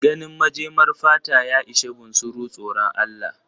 Ganin majemar fata ya ishe bunsuru tsoran Allah.